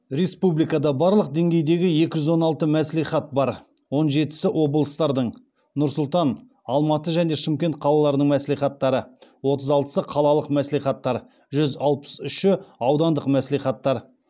республикада барлық деңгейдегі екі жүз он алты мәслихат бар он жетісі облыстардың нұр сұлтан алматы және шымкент қалаларының мәслихаттары отыз алтысы қалалық мәслихаттар жүз алпыс үші аудандық мәслихаттар